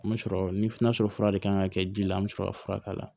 An bɛ sɔrɔ n'a sɔrɔ fura de kan ka kɛ ji la an bɛ sɔrɔ ka fura k'a la